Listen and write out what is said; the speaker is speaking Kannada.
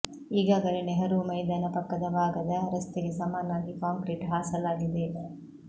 ಈಗಾಗಲೇ ನೆಹರೂ ಮೈದಾನ ಪಕ್ಕದ ಭಾಗದ ರಸ್ತೆಗೆ ಸಮಾನಾಗಿ ಕಾಂಕ್ರೀಟ್ ಹಾಸಲಾಗಿದೆ